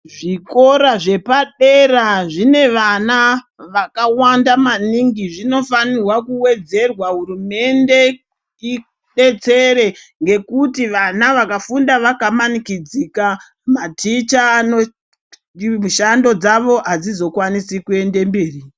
Zvikora zvepadera zvine vana, vakawanda maningi. Zvinofanirwa kuwedzerwa hurumende idetsere, ngekuti vana vakafunda vakamanikidzika, maticha anotiimishando dzavo adzizokwanisi kuende mberi.